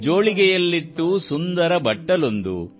ಜೋಳಿಗೆಯಲ್ಲಿತ್ತು ಸುಂದರ ಬಟ್ಟಲೊಂದು